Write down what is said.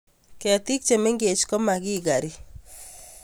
Ketik che mengech komakikari